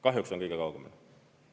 Kahjuks on kõige kaugemal.